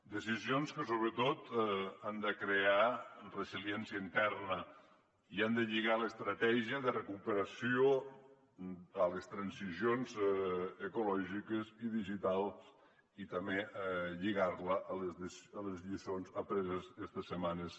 decisions que sobretot han de crear resiliència interna i han de lligar l’estratègia de recuperació a les transicions ecològiques i digitals i també lligar la a les lliçons apreses estes setmanes